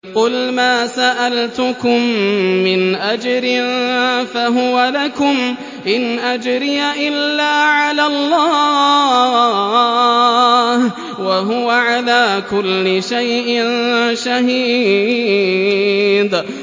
قُلْ مَا سَأَلْتُكُم مِّنْ أَجْرٍ فَهُوَ لَكُمْ ۖ إِنْ أَجْرِيَ إِلَّا عَلَى اللَّهِ ۖ وَهُوَ عَلَىٰ كُلِّ شَيْءٍ شَهِيدٌ